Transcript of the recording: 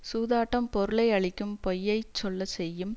சூதாட்டம் பொருளை அழிக்கும் பொய்யைச் சொல்ல செய்யும்